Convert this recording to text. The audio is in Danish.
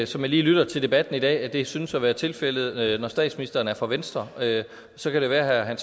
som jeg lige lytter til debatten i dag at det synes at være tilfældet når statsministeren er fra venstre så kan det være at